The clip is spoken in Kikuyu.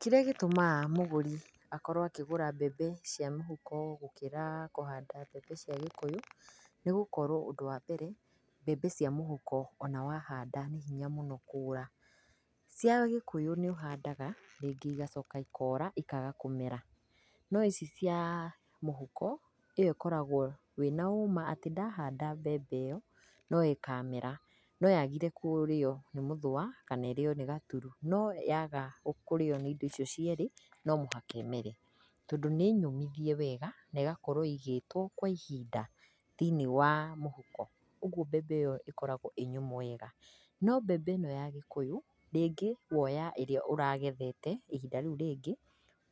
Kĩrĩa gĩtũmaga mũgũri akorwo akĩgũra mbembe cia mũhuko gũkĩra kũhanda mbembe cia gĩkũyũ, nĩ gũkorwo ũndũ wa mbere, mbembe cia mũhuko ona wahanda nĩ hinya mũno kũra. Cia gĩkũyũ nĩ ũhandaga rĩngĩ igacoka ikora ikaga kũmera, no ici cia mũhuko, ĩo ĩkoragwo wĩna ũma atĩ ndahanda membe ĩo no ĩkamera, no yagire kũrĩo nĩ mũthũa kana ĩrĩo nĩ gaturu, no yaga kũrĩo nĩ indo icio cierĩ, no mũhaka ĩmere tondũ nĩ nyũmithie wega na ĩgakorwo ĩigĩtwo kwa ihinda thĩiniĩ wa mũhuko, kũoguo mbembe ĩo ĩkoragwo ĩ nyũmũ wega. No mbembe ĩno ya gĩkũyũ, rĩngĩ woa ĩrĩa ũragethete ihinda rĩu rĩngĩ